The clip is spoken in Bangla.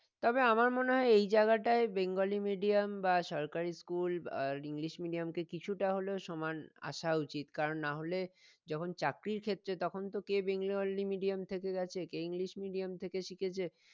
তবে আমার মনে হয়ই এই জায়গাটাই বেঙ্গলি medium বা সরকারি school আহ english medium কে কিছুটা হলেও সমান আসা উচিত কারন না হলে যখন চাকরির ক্ষেত্রে তখন তো কে বেঙ্গলি medium থেকে আছে কে english medium থেকে শিখেছে